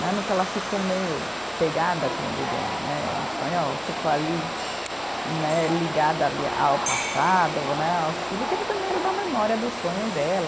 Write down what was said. Né no que ela ficou meio pegada, como eu diria em né, em espanhol, ficou ali né, ligada ali ao passado né, ao Chile, que ele também era da memória do sonho dela.